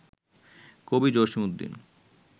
কবি জসিম উদ্দিন